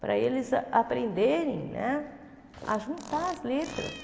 Para eles a aprenderem né a juntar as letras.